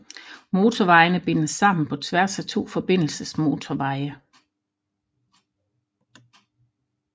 Motorvejene bindes sammen på tværs af to forbindelsesmotorveje